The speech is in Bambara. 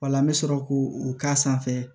Wala an bɛ sɔrɔ k'o k'a sanfɛ